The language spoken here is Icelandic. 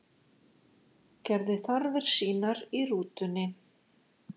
Gerði þarfir sínar í rútunni